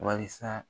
Wasa